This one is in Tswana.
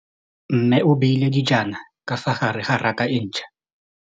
Mmê o beile dijana ka fa gare ga raka e ntšha.